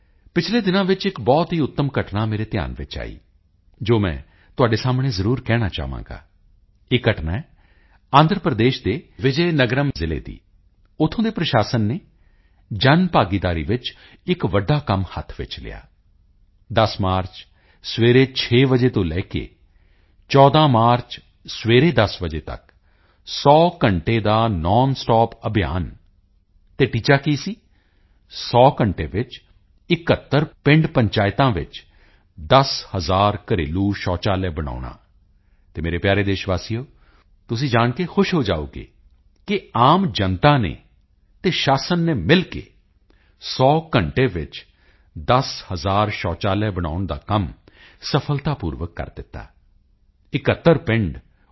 ਪਿਛਲੇ ਦਿਨਾਂ ਵਿੱਚ ਇੱਕ ਬਹੁਤ ਹੀ ਉੱਤਮ ਘਟਨਾ ਮੇਰੇ ਧਿਆਨ ਵਿੱਚ ਆਈ ਜੋ ਮੈਂ ਤੁਹਾਡੇ ਸਾਹਮਣੇ ਜ਼ਰੂਰ ਕਹਿਣਾ ਚਾਹਾਂਗਾ ਇਹ ਘਟਨਾ ਹੈ ਆਂਧਰਾ ਪ੍ਰਦੇਸ਼ ਦੇ ਵਿਜੇ ਨਗਰਮ ਜ਼ਿਲ੍ਹੇ ਦੀ ਉੱਥੋਂ ਦੇ ਪ੍ਰਸ਼ਾਸਨ ਨੇ ਜਨ ਭਾਗੀਦਾਰੀ ਵਿੱਚ ਇੱਕ ਵੱਡਾ ਕੰਮ ਹੱਥ ਵਿੱਚ ਲਿਆ 10 ਮਾਰਚ ਸਵੇਰੇ 6 ਵਜੇ ਤੋਂ ਲੈ ਕੇ 14 ਮਾਰਚ ਸਵੇਰੇ 10 ਵਜੇ ਤੱਕ 100 ਘੰਟੇ ਦਾ ਨੋਨ ਸਟਾਪ ਅਭਿਆਨ ਅਤੇ ਟੀਚਾ ਕੀ ਸੀ 100 ਘੰਟੇ ਵਿੱਚ 71 ਪਿੰਡਾਂ ਪਿੰਡ ਪੰਚਾਇਤਾਂ ਵਿੱਚ 10000 ਘਰੇਲੂ ਸ਼ੌਚਾਲਿਆ ਬਣਾਉਣਾ ਅਤੇ ਮੇਰੇ ਪਿਆਰੇ ਦੇਸ਼ ਵਾਸੀਓ ਤੁਸੀਂ ਜਾਣ ਕੇ ਖੁਸ਼ ਹੋ ਜਾਓਗੇ ਕਿ ਆਮ ਜਨਤਾ ਨੇ ਅਤੇ ਸ਼ਾਸਨ ਨੇ ਮਿਲ ਕੇ 100 ਘੰਟੇ ਵਿੱਚ 10000 ਸ਼ੌਚਾਲਿਆ ਬਣਾਉਣ ਦਾ ਕੰਮ ਸਫਲਤਾਪੂਰਵਕ ਪੂਰਾ ਕਰ ਦਿੱਤਾ 71 ਪਿੰਡ ਓ